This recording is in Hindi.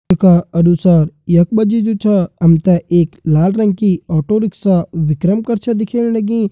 चित्र का अनुसार यख मा जी जु छा हम ते एक लाल रंग की ऑटो रिक्शा विक्रम कर छा दिखेण लगीं।